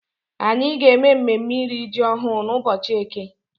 Anyị ga-eme mmemme iri ji ọhụrụ n'ụbọchị eke.